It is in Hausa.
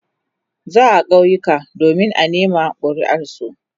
za'a kauyuka domin a nema kuriar su